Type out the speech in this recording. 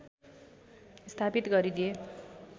स्थापित गरिदिए